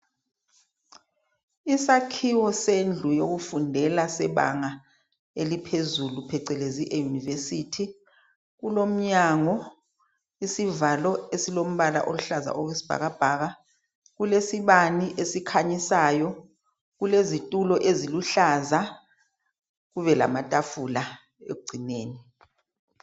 Isakhiwo sendlu yokufundela sebanga eliphezulu phecelezi e university kulomnyango, isivalo esilombala oluhlaza okwesibhaka bhaka, kulesibani esikhanyisayo, kulezitulo eziluhlaza kube lamatafula ekugcineni.